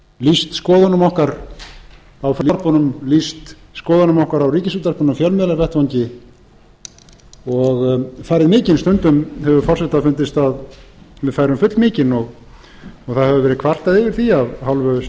lýst skoðunum okkar á ríkisútvarpinu á fjölmiðlavettvangi og farið mikinn stundum hefur forseta fundist að við færum fullmikinn og það hefur verið kvartað yfir því af hálfu